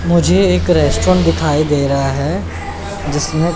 मुझे एक रेस्टोरेंट दिखाई दे रहा है जिसने--